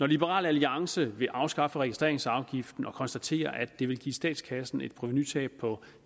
liberal alliance vil afskaffe registreringsafgiften og konstaterer at det vil give statskassen et provenutab på